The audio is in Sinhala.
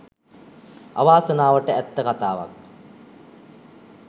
අවාසනාවට ඇත්ත කතාවක්